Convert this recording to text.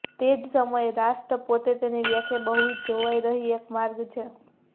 તે જ સમયે રાષ્ટ્ર પોતે તેની વ્યાખ્યા બહુવિધ જોવાઈ રહી એક માર્ગ છે